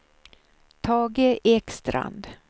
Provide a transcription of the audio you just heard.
Tage Ekstrand